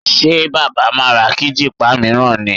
Sẹ́ baba máa ra kíjìpá mìíràn ni?